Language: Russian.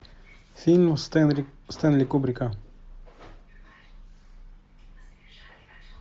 фильм стэнли кубрика